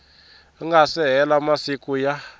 nga se hela masiku ya